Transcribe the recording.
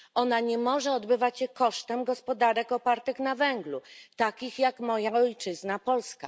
Ona nie może odbywać się kosztem gospodarek opartych na węglu, takich jak moja ojczyzna Polska.